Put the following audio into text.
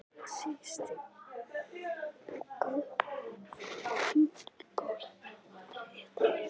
Sigsteinn, bókaðu hring í golf á þriðjudaginn.